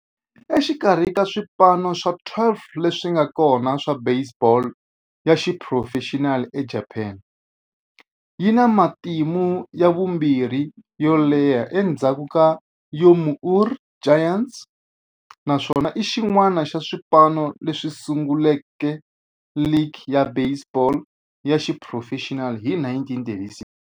Exikarhi ka swipano swa 12 leswi nga kona swa baseball ya xiphurofexinali eJapani, yi na matimu ya vumbirhi yo leha endzhaku ka Yomiuri Giants, naswona i xin'wana xa swipano leswi sunguleke ligi ya baseball ya xiphurofexinali hi 1936.